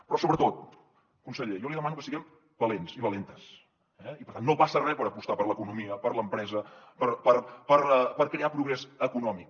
però sobretot conseller jo li demano que siguem valents i valentes eh i per tant no passa res per apostar per l’economia per l’empresa per crear progrés econòmic